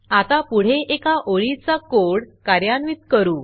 आता पुढे एका ओळीचा कोड कार्यान्वित करू